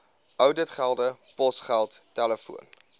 ouditgelde posgeld telefoon